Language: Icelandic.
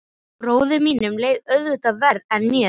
Bróður mínum leið auðvitað verr en mér.